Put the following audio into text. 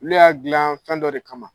Ulu y'a dilan fɛn dɔ de kama.